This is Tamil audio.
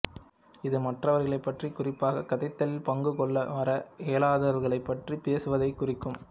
இது மற்றவர்களைப் பற்றி குறிப்பாக கதைத்தலில் பங்கு கொள்ள வர இயலாதவர்களைப் பற்றி பேசுவதைக் குறிக்கும்